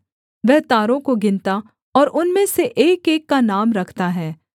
वह तारों को गिनता और उनमें से एकएक का नाम रखता है